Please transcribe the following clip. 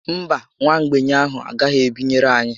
Mba, nwa mgbei ahụ a gaghị ebinyere anyị